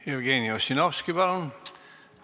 Jevgeni Ossinovski, palun!